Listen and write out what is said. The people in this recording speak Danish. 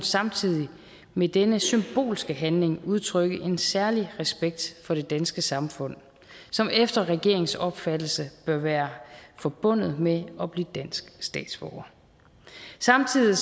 samtidig med denne symbolske handling udtrykke en særlig respekt for det danske samfund som efter regeringens opfattelse bør være forbundet med at blive dansk statsborger samtidig